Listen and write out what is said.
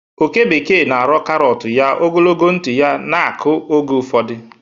oke bekee na-arọ karọt ya, ogologo ntị ya na-akụ oge ụfọdụ.